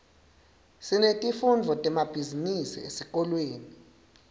sinetifundvo temabhizinisi esikolweni